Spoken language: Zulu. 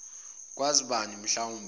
kwazi bani mhlawumbe